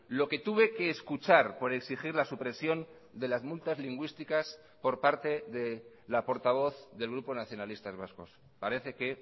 lo que tuve que escuchar por exigir la supresión de las multas lingüísticas por parte de la portavoz del grupo nacionalistas vascos parece que